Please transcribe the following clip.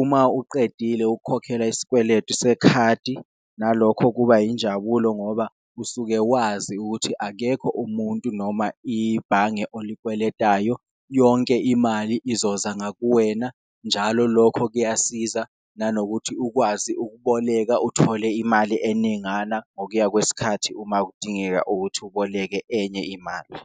uma uqedile ukukhokhela isikweletu sekhadi nalokho kuba injabulo, ngoba usuke wazi ukuthi akekho umuntu noma ibhange oyikweletayo yonke imali izozala kuwena. Njalo lokho kuyasiza nanokuthi ukwazi ukuboleka uthole imali eningana ngokuya kwesikhathi uma kudingeka ukuthi uboleke enye imali.